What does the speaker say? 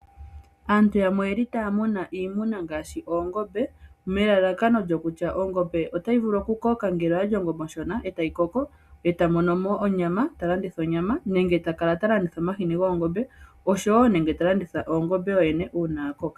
Aantu yamwe otaya muna iinima ngaashi oongombe nelalakano kutya ongombe otayi vulu okukoka ngele oyali oshona e taya mono mo onyama, yo taya landitha nenge taya landitha omahini goongombe osho wo ongombe yo yene uuna yakoko.